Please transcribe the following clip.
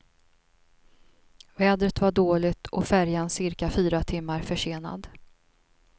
Vädret var dåligt och färjan cirka fyra timmar försenad.